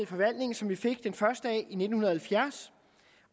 forvaltningen som vi fik den første dag i nitten halvfjerds